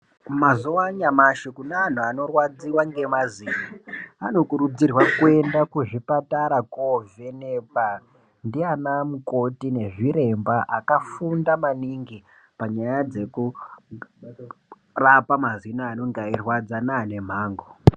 Mazuwaanyamshi kune anthu anorwadziwa ngemazino anokurudzirwa kuenda kuzvipatara koovhenekwa ndiana mukoti nezviremba akafunda maningi panyaya dzekurapa mazino anenge eirwadza neane mhango.